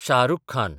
Shah Rukh Khan